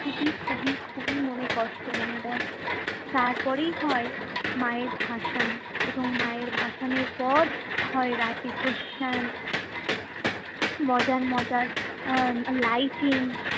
খুবই খুবই খুবই মনে কষ্ট এনে দেয়। তারপেরই হয় মায়ের ভাসান এবং মায়ের ভাসানের পর হয় রাতে প্রশ্চায়ন। মজার মজার আহ lighting